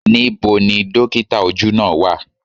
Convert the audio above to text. Níbo ni dókítà ojú náà á wà.?